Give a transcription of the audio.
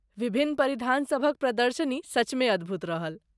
विभिन्न परिधानसभक प्रदर्शनी सचमे अद्भुत रहल।